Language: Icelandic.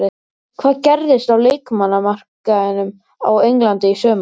Hvað gerist á leikmannamarkaðinum á Englandi í sumar?